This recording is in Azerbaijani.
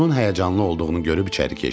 Onun həyəcanlı olduğunu görüb içəri keçdim.